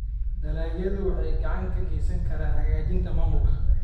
Dalagyadu waxay gacan ka geysan karaan hagaajinta maamulka.